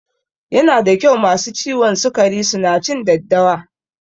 Yana da kyau masu ciwon sikari su na cin daddawa